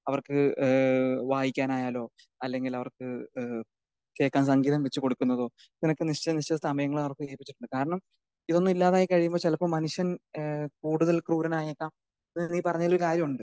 അവർക്ക് ഏഹ് വായിക്കാനായാലോ അല്ലെങ്കിൽ അവർക്ക് ഏഹ് കേക്കാൻ സംഗീതം വെച്ച് കൊടുക്കുന്നതോ ഇത്ര ഒക്കെ നിശ്ചിത നിശ്ചിത സമയങ്ങൾ നടത്തീകരിച്ചിട്ടുണ്ട്. കാരണം ഇതൊന്നും ഇല്ലാതായി കഴിയുമ്പോൾ ചിലപ്പോൾ മനുഷ്യൻ ഏഹ് കൂടുതൽ ക്രൂരനായേക്കാം ഇപ്പൊ നീ പറഞ്ഞതിലും കാര്യമുണ്ട്.